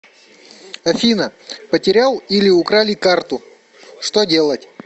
афина потерял или украли карту что делать